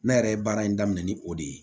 Ne yɛrɛ ye baara in daminɛ ni o de ye